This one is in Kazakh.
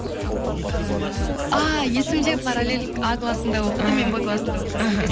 ііі ааа есімде параллель а классында оқыды мен б классында оқыдым